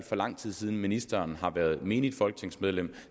for lang tid siden ministeren har været menigt folketingsmedlem